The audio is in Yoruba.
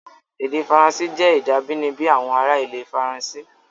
Èdè Faransé jẹ́ èdè abínibí àwọn ará ilẹ̀ Faransé.